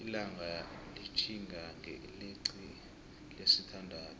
ilanga litihinga ngeilixi lesi thandathu